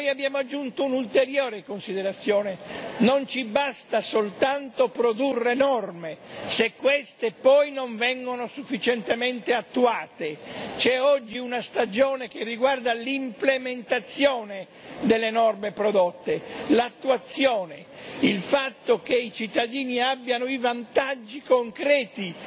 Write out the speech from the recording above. Noi abbiamo aggiunto un'ulteriore considerazione non ci basta soltanto produrre norme se queste poi non vengono sufficientemente attuate. C'è oggi una stagione che riguarda l'implementazione delle norme prodotte, l'attuazione, il fatto che i cittadini abbiano i vantaggi concreti